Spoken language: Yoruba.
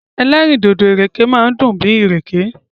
Ẹlẹ́rìndòdò ìrèké máa dùn bíi ìrèké.